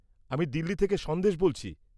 আমি দিল্লি থেকে সন্দেশ বলছি।